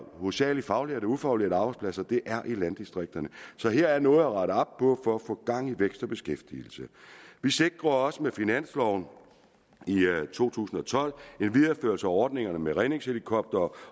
hovedsagelig faglærte og ufaglærte arbejdspladser og det er i landdistrikterne så her er noget at rette op på for at få gang i vækst og beskæftigelse vi sikrede også med finansloven i to tusind og tolv en videreførelse af ordningen med redningshelikoptere